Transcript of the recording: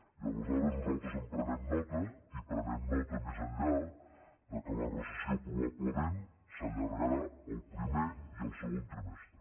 i aleshores nosaltres en prenem nota i prenem nota més enllà que la recessió probablement s’allargarà al primer i al segon trimestre